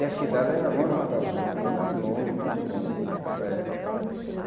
E a cidade era longe uma das outras, muito longe, muito longe, nessa época.